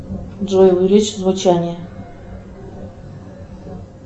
джой увеличь звучание